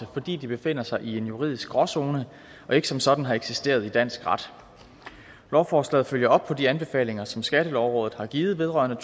fordi de befinder sig i en juridisk gråzone og ikke som sådan har eksisteret i dansk ret lovforslaget følger op på de anbefalinger som skattelovrådet har givet vedrørende